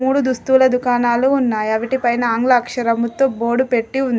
మూడు దుస్తుల దుకాణాలు ఉన్నాయి. అవిటి పైన ఆంగ్ల అక్షరముతో బోర్డు పెట్టి ఉంది.